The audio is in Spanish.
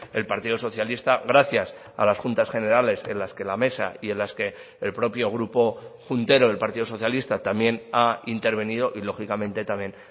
el partido socialista gracias a las juntas generales en las que la mesa y en las que el propio grupo juntero del partido socialista también ha intervenido y lógicamente también